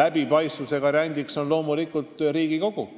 läbipaistvuse garant on Riigikogu.